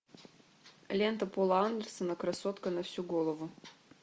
лента пола андерсона красотка на всю голову